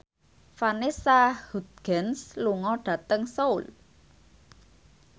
Vanessa Hudgens lunga dhateng Seoul